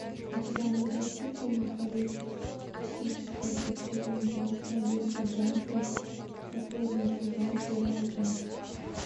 у тебя найдется фильм холистическое детективное агентство дирка джентли последний сезон первая часть